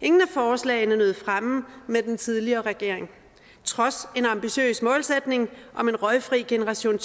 ingen af forslagene nød fremme med den tidligere regering trods en ambitiøs målsætning om en røgfri generation